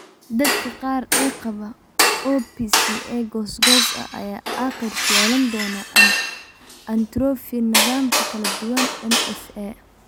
Dadka qaar ee qaba OPCA goos goos ah ayaa aakhirka yeelan doona atrophy nadaamka kala duwan (MSA).